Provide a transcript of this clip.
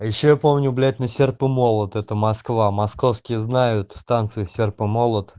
а ещё я помню блять на серп и молот это москва московские знают станцию серп и молот